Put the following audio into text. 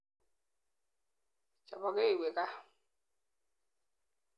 Chopokee iwe kaa.